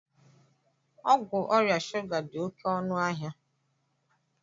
Ọgwụ ọrịa shuga dị oké ọnụ ahịa